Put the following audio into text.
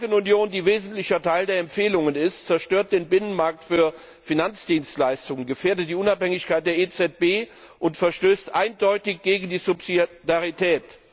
Die Bankenunion, die ein wesentlicher Teil der Empfehlungen ist, zerstört den Binnenmarkt für Finanzdienstleistungen, gefährdet die Unabhängigkeit der EZB und verstößt eindeutig gegen die Subsidiarität.